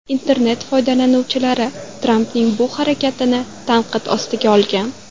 Internet foydalanuvchilari Trampning bu harakatini tanqid ostiga olgan.